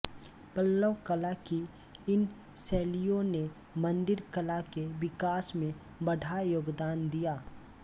पल्लव कला की इन शैलियों ने मंदिर कला के विकास में बढ़ा योगदान दिया